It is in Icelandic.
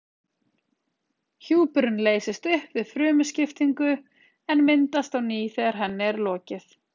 Hjúpurinn leysist upp við frumuskiptingu en myndast á ný þegar henni er lokið.